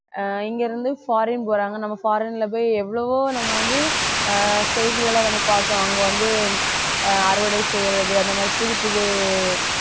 ஆஹ் இங்க இருந்து foreign போறாங்க நம்ம foreign ல போய் எவ்வளவோ நம்ம வந்து ஆஹ் செய்திகளை நம்ம பார்க்கிறோம் அங்க வந்து ஆஹ் அறுவடை செய்யுறது அந்த மாதிரி புதுப்புது